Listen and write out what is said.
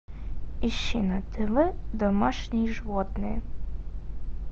ищи на тв домашние животные